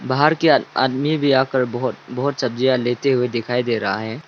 बाहर के आदमी भी आकर बहोत बहोत सब्जियां लेते हुए दिखाई दे रहा है।